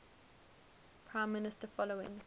prime minister following